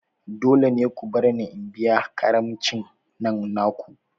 Dole ne ku barni in biya karamicin nan naku!